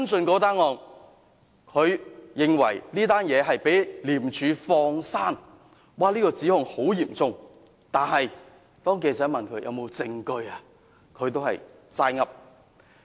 他認為該宗案件被廉署放過，指控十分嚴重，但當記者問他有否證據時，他也只是"齋噏"。